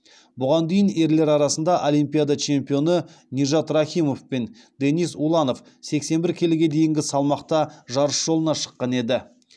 бұған дейін ерлер арасында олимпиада чемпионы нижат рахимов пен денис уланов сексен бір келіге дейінгі салмақта жарыс жолына шыққан еді